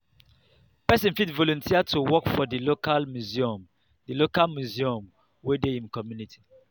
person fit volunteer to work for di local museum di local museum wey dey im community